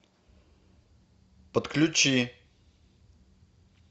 подключи